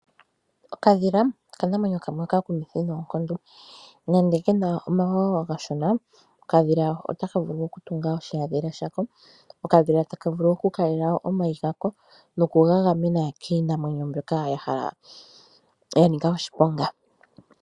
Okadhila okanamwenyo kamwe oka kumwithi nonkondo nande kena omawawa omashona, okadhila otaka vulu ku tunga oshihadhila shako, okadhila taka vulu oku kalela omayi gako noku ga gamena kiinamwenyo mbyoka yanika oshiponga.